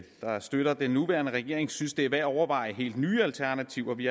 der støtter den nuværende regering synes det er værd at overveje helt nye alternativer vi